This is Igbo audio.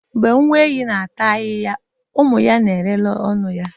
Mgbe nne ehi na-ata ahịhịa ụmụ ya na-ele ọnụ ya